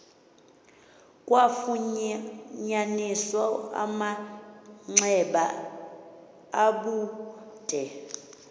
kwafunyaniswa amanxeba abude